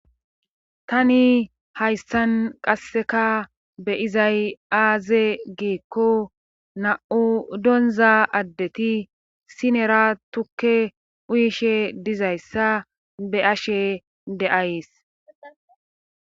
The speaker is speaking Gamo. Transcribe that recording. tani hayssan qasseka be izay aaze giikko na7u donza addeti sinera tukke uyishe dizayssa be ashe de7ays